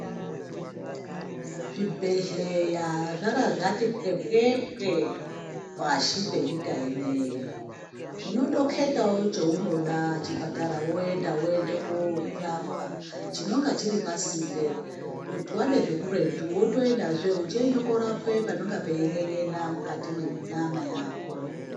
Zvibhedhlera zvarazvati pwepwepwe pashi penyika ino iyi. Unondokhetawo cheunoda woenda, woendekorapwa. Chinonga chiri pasinde, kuti wade zvekuretu wotoendazve uchiende korapwe panenge pachin'en'ena mukati menyama yako.